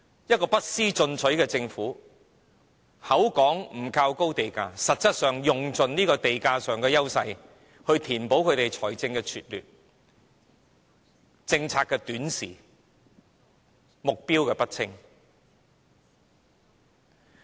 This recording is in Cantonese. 一個不思進取的政府口說不靠高地價，實質上卻用盡地價上的優勢來填補理財的拙劣、政策的短視、目標的不清。